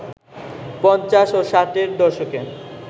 পঞ্চাশ ও ষাটের দশকে